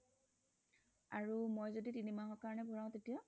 আৰু মই যদি তিনি মাহৰ কাৰণে ভৰাও তেতিয়া